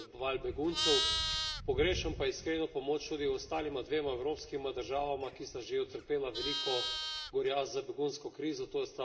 Pogrešam pa iskreno pomoč tudi ostalima dvema evropskima državama, ki sta že utrpeli veliko gorja z begunsko krizo, to sta Makedonija in Srbija.